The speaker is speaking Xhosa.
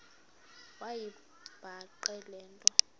wayibhaqa le nto